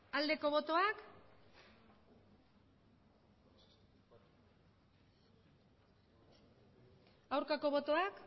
aldeko botoak aurkako botoak